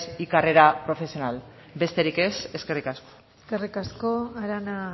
y carrera profesional besterik ez eskerrik asko eskerrik asko arana